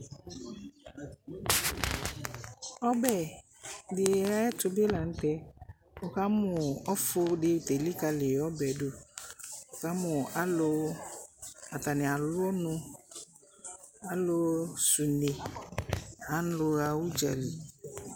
Ɔbɛ di ayɛtu bi la nu tɛ wukamu ɔfu di te likali ɔbɛ du Wukamu alu atani alu ɔnu alu sɛ une alu ɣa udzali